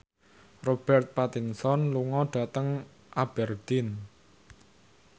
Robert Pattinson lunga dhateng Aberdeen